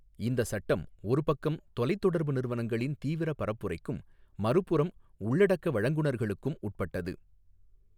இந்த சட்டம் ஒரு பக்கம் தொலைத்தொடர்பு நிறுவனங்களின் தீவிர பரப்புரைக்கும் மறுபுறம் உள்ளடக்க வழங்குநர்களுக்கும் உட்பட்டது.